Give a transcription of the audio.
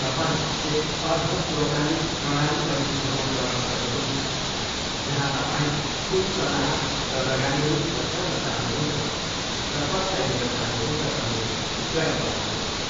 तपाईँ एक अर्ध स्वचालित प्रणाली पनि छनोट गर्न सक्नुहुन्छ, जहाँ तपाईँले कुन सल्लाह र लगानीहरू पछ्याउन चाहनुहुन्छ र कसलाई दिन चाहनुहुन्छ भन्ने चयन गर्नुहोस्।